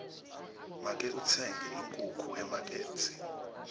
make utsenge inkhukhu emakethe